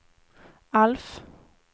Alf